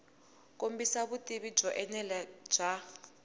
kombisa vutivi byo enela bya